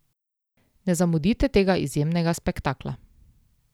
Ne zamudite tega izjemnega spektakla.